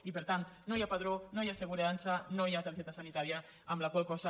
i per tant no hi ha padró no hi ha assegurança no hi ha targeta sanitària amb la qual cosa